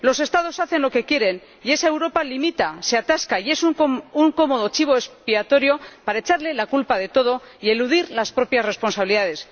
Los Estados hacen lo que quieren y esa Europa limita, se atasca y es un cómodo chivo expiatorio para echarle la culpa de todo y eludir las propias responsabilidades.